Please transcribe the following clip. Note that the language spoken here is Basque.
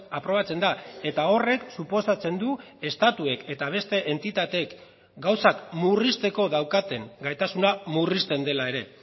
aprobatzen da eta horrek suposatzen du estatuek eta beste entitateek gauzak murrizteko daukaten gaitasuna murrizten dela ere